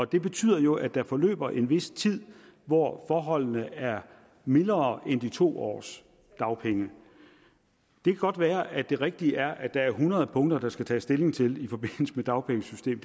det betyder jo at der forløber en vis tid hvor forholdene er mildere end de to års dagpenge det kan godt være at det rigtige er at der er hundrede punkter der skal tages stilling til i forbindelse med dagpengesystemet